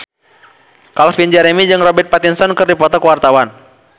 Calvin Jeremy jeung Robert Pattinson keur dipoto ku wartawan